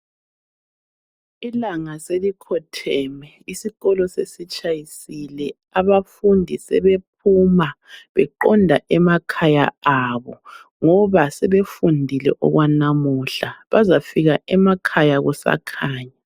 Ilanga selikhotheme, isikolo sesitshayisile. Abafundi sebephuma beqonda emakhaya abo ngoba sebefundile okwanamuhla. Bazafika emakhaya kusakhanya.